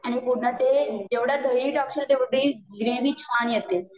आणि पूर्ण ते जेवढी दही टाकशील तेवढी ग्रेवि छान येते